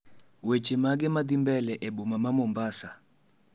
Weche magee madhii mbele boma ma mombasa?